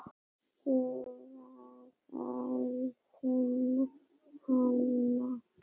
Ég varð að finna hann.